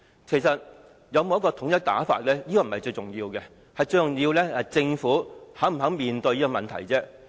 其實有否統一的手語手勢並非最重要，最重要的是政府是否願意面對這個問題。